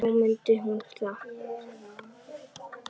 Þá mundi hún það.